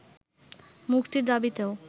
মুক্তির দাবিতেও